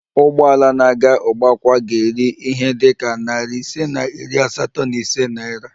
Ụgbọ ala na-aga ugbakwa ga-eri ihe dị ka nari ise na iri asatọ na ise naira